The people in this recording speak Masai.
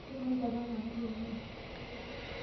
Shomo inchopo enamuke ng'ejuk.